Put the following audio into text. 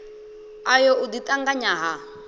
ayo u ḓi ṱanganya ha